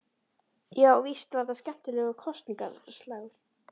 Já, víst var þetta skemmtilegur kosningaslagur.